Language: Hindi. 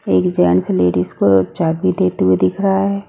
एक जेंट्स लेडिस को चाबी देते हुए दिख रहा है।